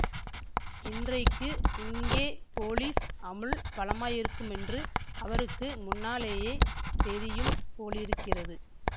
இன்றைக்கு இங்கே போலீஸ் அமுல் பலமாயிருக்குமென்று அவருக்கு முன்னாலேயே தெரியும் போலிருக்கிறது